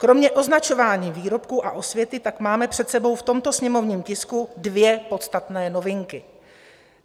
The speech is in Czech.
Kromě označování výrobků a osvěty tak máme před sebou v tomto sněmovním tisku dvě podstatné novinky.